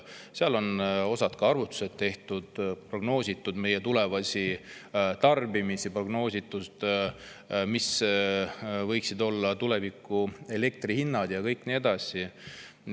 Seal on ka osad arvutused tehtud, on prognoositud meie tulevast tarbimist ja seda, millised võiksid tulevikus olla elektrihinnad ja nii edasi.